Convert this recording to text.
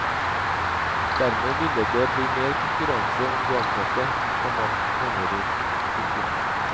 Dermed ville det bli mer konkurranse om de ansatte, komma mener hun. punktum